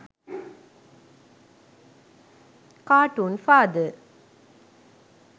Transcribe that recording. cartoon father